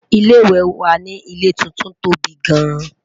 ilé ìwé wà nì ilé tuntun tóbi gaan